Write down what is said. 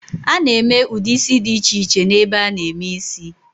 A na-eme ụdị ísí dị iche iche n'ebe a na-eme ísí.